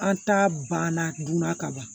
An ta banna dunna kaban